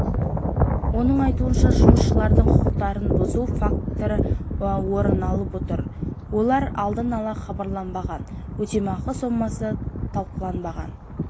оның айтуынша жұмысшылардың құқықтарын бұзу фактілері орын алып отыр олар алдын ала хабарланбаған өтемақы сомасы талқыланбаған